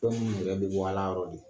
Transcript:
Fɛn minnu yɛrɛ bɛ bɔ Ala yɔrɔ de.